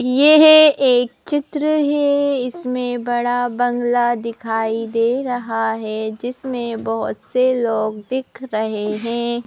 यह एक चित्र है इसमें बड़ा बंगला दिखाई दे रहा है जिसमें बहुत से लोग दिख रहे हैं।